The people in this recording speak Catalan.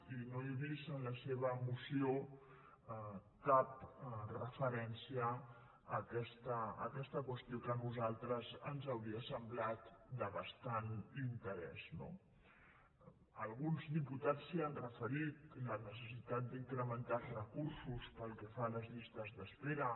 i no he vist en la seva moció cap referència a aquesta qüestió que a nosaltres ens hauria semblat de bastant interès no alguns diputats s’hi han referit la necessitat d’incre·mentar els recursos pel que fa a les llistes d’espera